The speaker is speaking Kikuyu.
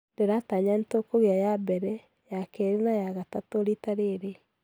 Ndĩratanya nĩtũkugea ya mbere , ya kerĩ na ya gatatũ rita rĩrĩ